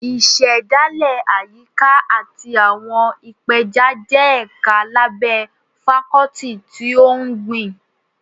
Ìṣẹ̀dálẹ̀ Àyíká àti àwọn ìpeja jẹ́ ẹ̀ka lábẹ́ Fákọ́tì ti ohun ọ̀gbìn